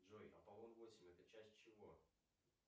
джой аполлон восемь это часть чего